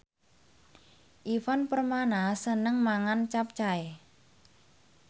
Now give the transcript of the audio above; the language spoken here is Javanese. Ivan Permana seneng mangan capcay